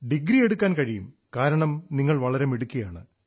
degree എടുക്കാൻ കഴിയും കാരണം നിങ്ങൾ വളരെ മിടുക്കിയാണ്